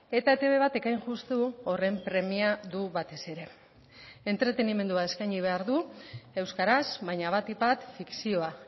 eta etb batek hain justu horren premia du batez ere entretenimendua eskaini behar du euskaraz baina batik bat fikzioa